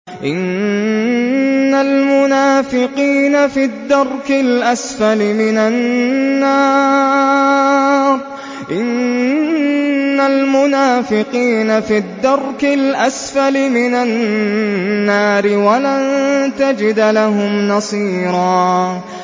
إِنَّ الْمُنَافِقِينَ فِي الدَّرْكِ الْأَسْفَلِ مِنَ النَّارِ وَلَن تَجِدَ لَهُمْ نَصِيرًا